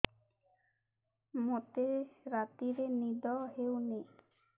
ମୋତେ ରାତିରେ ନିଦ ହେଉନି